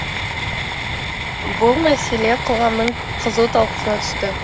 бұл мәселе қоғамның қызу талқысына түсті